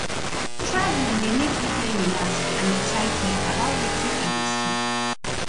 traveling dey make me dey relaxed and excited about wetin i go see